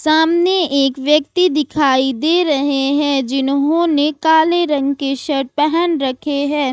अमने एक व्यक्ति दिखाई दे रहे हैं जिन्होंने काले रंग के शर्ट पहन रखे हैं।